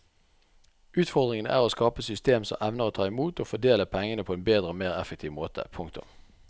Utfordringen er å skape et system som evner å ta imot og fordele pengene på en bedre og mer effektiv måte. punktum